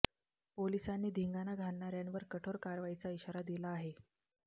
पोलिसांनी धिंगाणा घालणाऱ्यांवर कठोर कारवाईचा इशारा दिला आहे